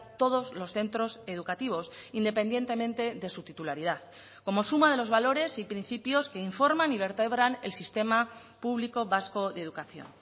todos los centros educativos independientemente de su titularidad como suma de los valores y principios que informan y vertebran el sistema público vasco de educación